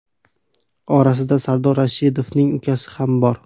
Orasida Sardor Rashidovning ukasi ham bor.